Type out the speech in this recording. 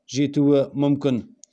жетуі мүмкін